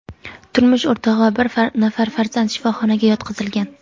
turmush o‘rtog‘i va bir nafar farzand shifoxonaga yotqizilgan.